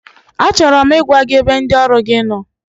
Achọrọ m ịgwa gị ebe ndị ọrụ gi nọ,